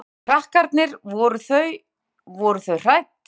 Heimir: Krakkarnir, voru þau, voru þau hrædd?